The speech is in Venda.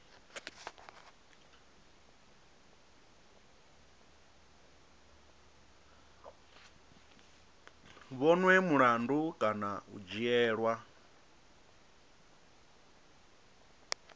vhonwe mulandu kana u dzhielwa